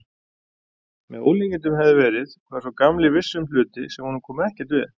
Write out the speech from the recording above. Með ólíkindum hefði verið, hvað sá gamli vissi um hluti, sem honum komu ekkert við.